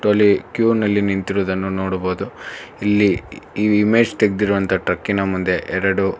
ಇದರಲ್ಲಿ ಕ್ಯೂ ನಲ್ಲಿ ನಿಂತಿರುವುದನ್ನು ನೋಡಬಹುದು ಇಲ್ಲಿ ಈ ಇಮೇಜ್ ತೆಗ್ದಿರುವಂತ ಟ್ರಕ್ಕಿನ ಮುಂದೆ ಎರಡು--